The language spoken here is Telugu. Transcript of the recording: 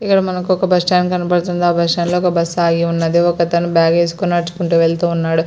ఇక్కడ మనకు ఒక బస్సు స్టాండ్ కనబడుతుంది ఆ బస్సు స్ట్సన్డ్ బస్సు ఆగి ఉన్నది ఒకతను బాగ్ ఏసుకొని నడుచుకుంటూ వెళ్తూ ఉన్నాడు.